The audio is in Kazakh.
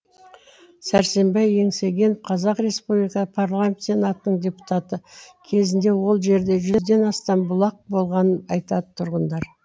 сәрсенбай еңсегенов қазақ республика парламент сенатының депутаты кезінде ол жерде жүзден астам бұлақ болғанын айтады тұрғындар